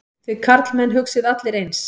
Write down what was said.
Þið karlmenn hugsið allir eins.